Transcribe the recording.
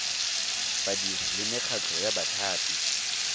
badiri le mekgatlho ya bathapi